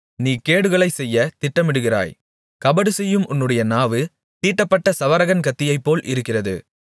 நீ கேடுகளைச் செய்ய திட்டமிடுகிறாய் கபடுசெய்யும் உன்னுடைய நாவு தீட்டப்பட்ட சவரகன் கத்தியைப்போல் இருக்கிறது